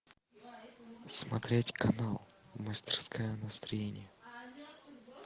смотреть канал мастерская настроения